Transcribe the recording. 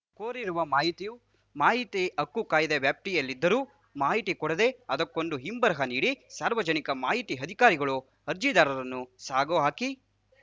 ಕೋರಿರುವ ಮಾಹಿತಿಯು ಮಾಹಿತಿ ಹಕ್ಕು ಕಾಯ್ದೆಯ ವ್ಯಾಪ್ತಿಯಲ್ಲಿದ್ದರೂ ಮಾಹಿತಿ ಕೊಡದೆ ಅದಕ್ಕೊಂದು ಹಿಂಬರಹ ನೀಡಿ ಸಾರ್ವಜನಿಕ ಮಾಹಿತಿ ಅಧಿಕಾರಿಗಳು ಅರ್ಜಿದಾರರನ್ನು ಸಾಗಹಾಕಿ